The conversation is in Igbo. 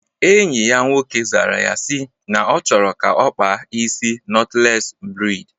Enyi ya nwoke zara ya si na ọ chọrọ ka ọ kpaa isi nọtlees breid